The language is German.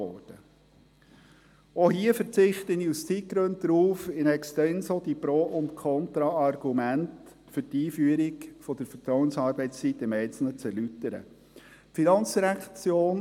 Auch hierzu verzichte ich aus Zeitgründen darauf, die Pro- und Contra-Argumente für die Einführung der Vertrauensarbeitszeit in extenso im Einzelnen zu erläutern.